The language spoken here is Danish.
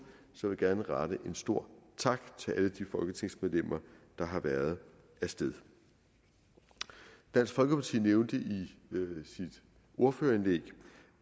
så jeg vil gerne rette en stor tak til alle de folketingsmedlemmer der har været af sted dansk folkeparti nævnte i sit ordførerindlæg